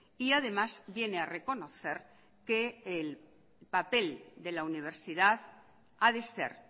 y además viene a reconocer que el papel de la universidad ha de ser